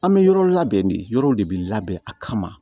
An bɛ yɔrɔ labɛn de yɔrɔ de bɛ labɛn a kama